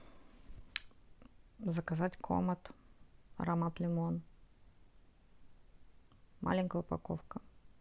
заказать комет аромат лимон маленькая упаковка